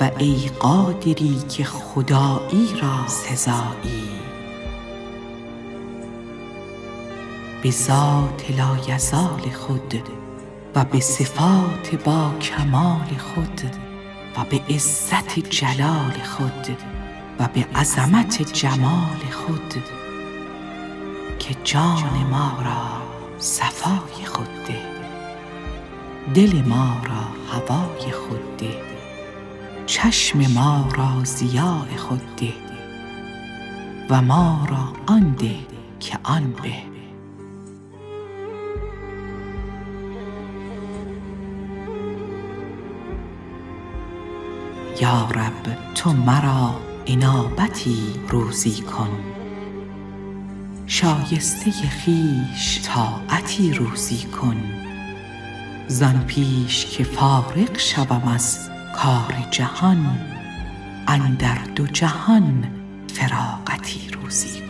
و ای قادری که خداییرا سزایی بذات لایزال خود و بصفات با کمال خود و بعزت جلال خود و بعظمت جمال خود که جان ما را صفای خود ده دل ما را هوای خود ده چشم ما را ضیاء خود ده و ما را آن ده که آن به یا رب تو مرا انابتی روزی کن شایسته خویش طاعتی روزی کن زان پیش که فارغ شوم از کار جهان اندر دو جهان فراغتی روزی کن